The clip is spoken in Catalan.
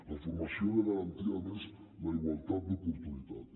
la formació ha de garantir a més la igualtat d’oportunitats